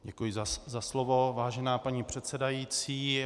Děkuji za slovo, vážená paní předsedající.